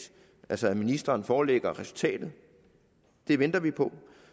altså at ministeren forelægger resultatet det venter vi på